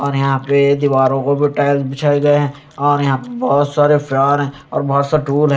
और यहाँ पर दीवारों को भी टाइल्स बिछाया गये है और यहाँ बोहोत सारे फ्लावर और बोहोत से है।